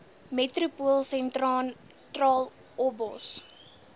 metropool sentraal obos